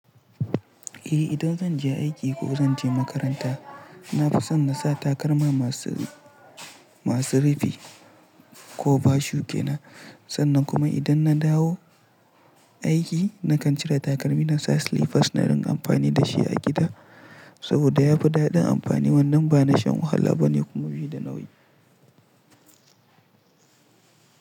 Eh, idan zan je aiki ko zan je makaranta, na fi son na sa takalma masu, masu rufi cover shoe kenan. Sannan kuma idan na dawo aiki, nakan cire takalmi na sa slippers na dinga amfani da shi a gida saboda ya fi daɗin amfani. Wannan ba na shan wahala ba ne kuma bai ya da nauyi.